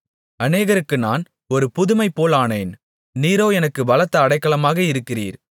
அநேகருக்கு நான் ஒரு புதுமைபோலானேன் நீரோ எனக்குப் பலத்த அடைக்கலமாக இருக்கிறீர்